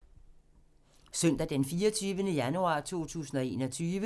Søndag d. 24. januar 2021